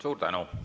Suur tänu!